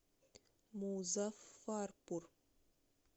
музаффарпур